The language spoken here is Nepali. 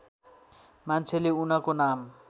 मान्छेले उनको नाम